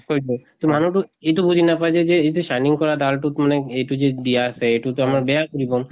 হৈ গল। ত মানুহ টো এইটো বুজি নাপায় যে যে এইটো shining কৰা দাল টোত মানে এইটো যে দিয়া আছে। এইটো টো আমাৰ বেয়া কৰিব?